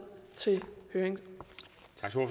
til høring